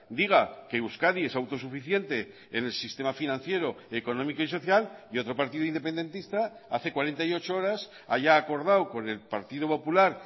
diga que euskadi es autosuficiente en el sistema financiero económico y social y otro partido independentista hace cuarenta y ocho horas haya acordado con el partido popular